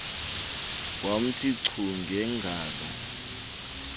wamthi chu ngengalo